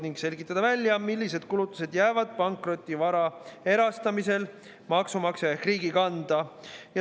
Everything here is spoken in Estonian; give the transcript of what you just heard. Ning selgitada välja, millised kulutused jäävad pankrotivara erastamisel maksumaksja ehk riigi kanda.